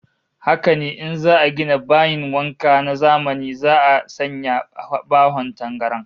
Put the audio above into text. Haka ne, in za'a gina bayin wanka na zamani za'a sanya bahon tangaran